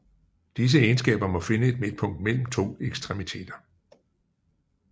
Disse egenskaber må finde et midtpunkt mellem to ekstremiteter